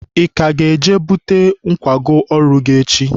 ị ka ga-eje bute nkwago ọrụ gị echi?